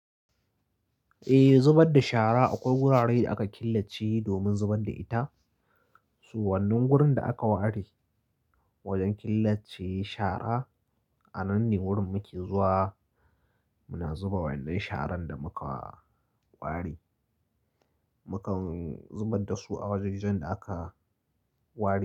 Eh, zubar da shara akwai wuraren da aka killace domin zubar da ita. Su wannan wurin da aka ware wajen killace shara. A nan ne wurin muke zuwa, muna zuba waɗannan sharan da muka ware. Muka zubar da su a wajajen da aka ware.